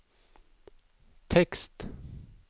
tekst